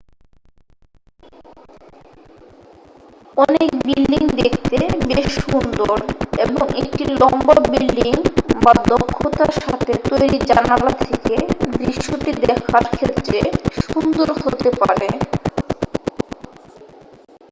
অনেক বিল্ডিং দেখতে বেশ সুন্দর এবং একটি লম্বা বিল্ডিং বা দক্ষতার সাথে তৈরি জানালা থেকে দৃশ্যটি দেখার ক্ষেত্রে সুন্দর হতে পারে